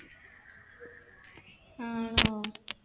ആണോ?